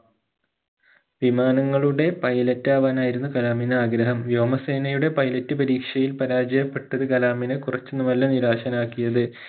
വിമാനങ്ങളുടെ pilot ആവാനായിരുന്നു കലാമിന് ആഗ്രഹം വ്യോമസേനയുടെ pilot പരീക്ഷയിൽ പരാജയപ്പെട്ടത് കലാമിനെ കുറച്ചൊന്നുമല്ല നിരാശനാക്കിയത്